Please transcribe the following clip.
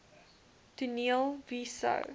toneel wie sou